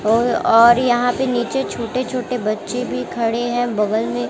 ओ और यहां पे नीचे छोटे छोटे बच्चे भी खड़े हैं बगल में--